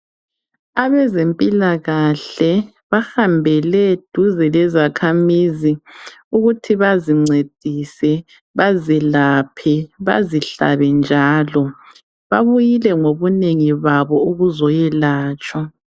abezempilakahle bafambele duzane lezakhamizi ukuthi bacincedise bazelaphe bazihlabe njalo babuyile ukozoyelatshwa